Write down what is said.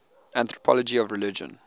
anthropology of religion